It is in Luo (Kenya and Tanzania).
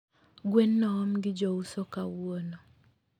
Gwen noom gi jouso kawuono